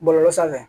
Bɔlɔlɔ sanfɛ